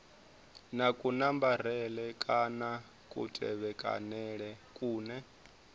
na kunambarele kana kutevhekanele kune